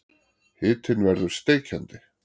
Hitinn verður steikjandi.